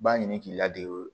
B'a ɲini k'i ladegew